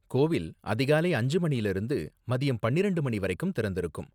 கோவில், அதிகாலை அஞ்சு மணில இருந்து மதியம் பன்னிரெண்டு மணி வரைக்கும் திறந்திருக்கும்.